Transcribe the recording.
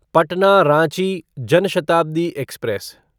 Patna Ranchi Jan Shatabdi express